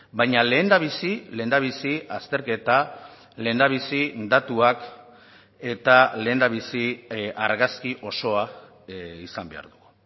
baina lehendabizi lehendabizi azterketa lehendabizi datuak eta lehendabizi argazki osoa izan behar dugu